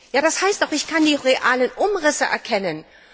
Ja, das heißt doch, ich kann die realen Umrisse erkennen.